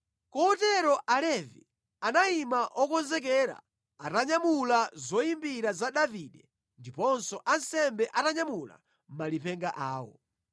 Kotero Alevi anayima okonzekera atanyamula zoyimbira za Davide ndiponso ansembe atanyamula malipenga awo.